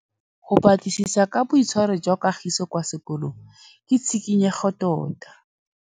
Go batlisisa ka boitshwaro jwa Kagiso kwa sekolong ke tshikinyêgô tota.